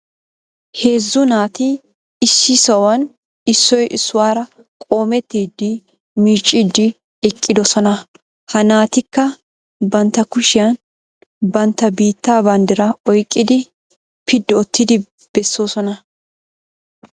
Heezzu naati issi sohuwan issoy issuwara qoomettidi miicciiddi eqqidosona. Ha naatikka bantta kushiyan bantta biittaa banddiraa oyqqidi piddi oottidi bessoosona.